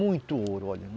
Muito ouro, olha.